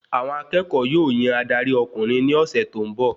Àwọn akẹ́kọ̀ọ́ yóò yan adari ọkùnrin ní ọsẹ tó n bọ